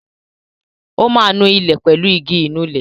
Ó ma nu ilẹ̀ pẹ̀lú igi Ìnulẹ̀